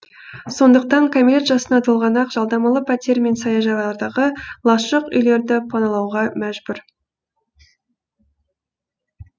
сондықтан кәмелет жасына толғаннан ақ жалдамалы пәтер мен саяжайлардағы лашық үйлерді паналауға мәжбүр